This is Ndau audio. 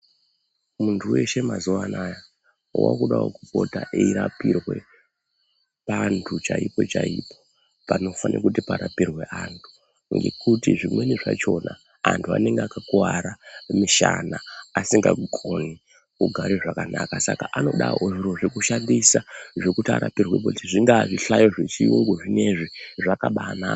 Muntu weshe mazuwa anaya waakudawo kupota eirapirwe panhu chaipochaipo panofanirwe kuti parapirwe anhu ngekuti zvimweni zvachona anhu anonga akakuwara kumishana asingagoni kugara zvakanaka saka anodawo zviro zvekushandisa zvekuti arapirwepo zvingaa zvihlayo zvechirungu zvinoizvi zvakabaanaka.